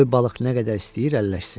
Qoy balıq nə qədər istəyir əlləşsin.